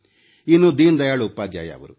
ಇನ್ನು ದೀನದಯಾಳ ಉಪಾಧ್ಯಾಯ ಅವರು